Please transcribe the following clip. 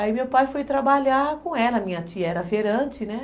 Aí meu pai foi trabalhar com ela, minha tia era feirante, né?